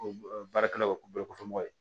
O baarakɛlaw o bolo kɔfɛ mɔgɔ ye